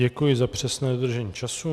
Děkuji za přesné dodržení času.